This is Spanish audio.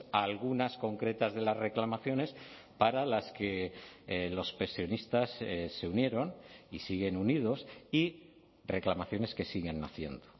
a algunas concretas de las reclamaciones para las que los pensionistas se unieron y siguen unidos y reclamaciones que siguen haciendo